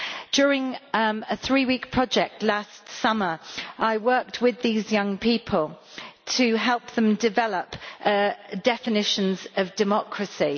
During a three week project last summer I worked with those young people to help them develop definitions of democracy.